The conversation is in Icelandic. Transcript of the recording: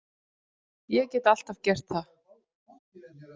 Ég get alltaf gert það.